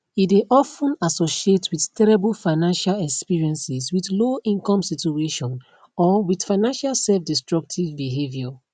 e dey of ten associate wit terrible financial experiences wit lowincome situation or wit financial selfdestructive behaviour